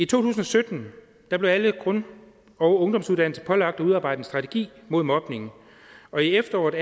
tusind og sytten blev alle grund og ungdomsuddannelser pålagt at udarbejde en strategi mod mobning og i efteråret